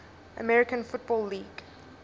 american football league